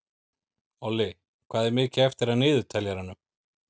Olli, hvað er mikið eftir af niðurteljaranum?